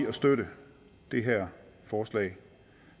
at støtte det her forslag